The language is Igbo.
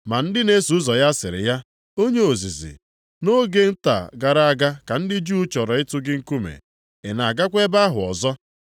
Ma ndị na-eso ụzọ ya sịrị ya, “Onye ozizi, nʼoge nta gara aga ka ndị Juu chọrọ ịtụ gị nkume. Ị na-agakwa ebe ahụ ọzọ?”